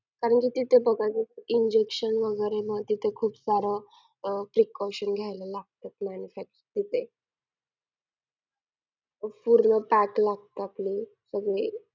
आणि तिथे ते जबरदस्त injection वगैरे मग तिथे खूप सार अह precaution घेयला लागत manufacturing तिथे. पूर्ण pack लागत आपल्याला.